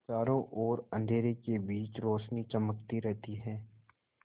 चारों ओर अंधेरे के बीच रौशनी चमकती रहती है